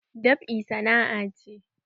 Dab'i sana'a ce.